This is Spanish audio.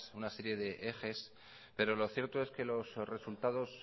una serie de ejes pero lo cierto es que los resultados